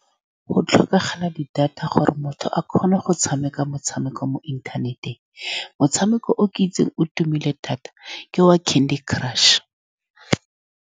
Go tlhokagala di-data gore motho a kgone go tshameka motshameko mo inthaneteng. Motshameko o ke o itseng o tumile thata ke wa Candy Crush.